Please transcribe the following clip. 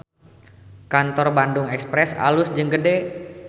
Kantor Bandung Express alus jeung gede